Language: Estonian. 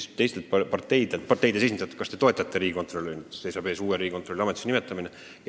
Ja president küsis parteide esindajatelt, kas te toetate riigikontrolöri – seisab ees uue riigikontrolöri ametisse nimetamine.